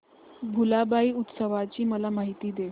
भुलाबाई उत्सवाची मला माहिती दे